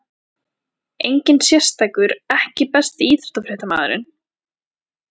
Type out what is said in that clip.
Enginn sérstakur EKKI besti íþróttafréttamaðurinn?